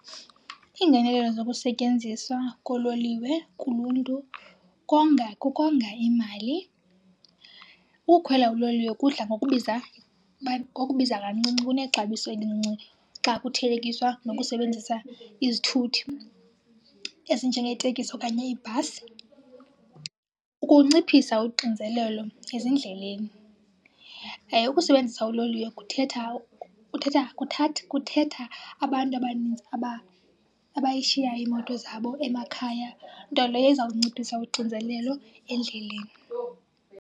Iingenelelo zokusetyenziswa koololiwe kuluntu konga, kukonga imali. Ukukhwela uloliwe kudla ngokubiza , ngokubiza kancinci kunexabiso elincinci xa kuthelekiswa nokusebenzisa izithuthi ezinjengeeteksi okanye iibhasi, ukunciphisa uxinzelelo ezindleleni. Yaye ukusebenzisa uloliwe kuthetha, kuthetha , kuthetha abantu abanintsi abayishiyayo iimoto zabo emakhaya, nto leyo izawunciphisa uxinzelelo endleleni.